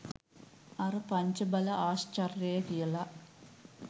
අර පංච බල ආශ්චර්යය කියල